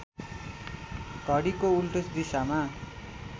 घडीको उल्टो दिशामा